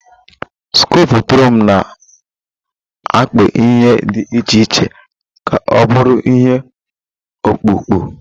Skupturịn na-akpụ ihe dị iche iche ka ọ bụrụ ihe ọkpụkpụ.